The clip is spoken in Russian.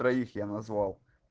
троих я назвал